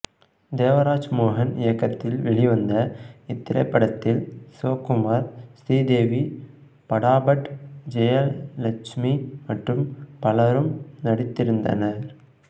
தேவராஜ்மோகன் இயக்கத்தில் வெளிவந்த இத்திரைப்படத்தில் சிவகுமார் ஸ்ரீதேவி படாபட் ஜெயலட்சுமி மற்றும் பலரும் நடித்திருந்தனர்